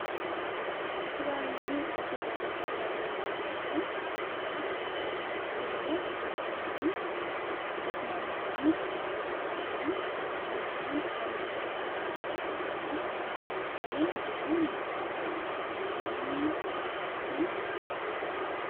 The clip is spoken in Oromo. Suuraa nunii asii gaditti argaa jirru kunimmoo suuraa siree kanii dur namoonni irra ciisanii baay'inaan ammaa akka kanatti hin argamuu. Siree durii abboonni keenya irra ciisanii kan mul'isudha.